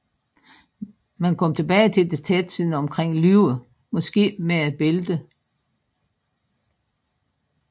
Man kom tilbage til det tætsiddende omkring livet måske med et bælte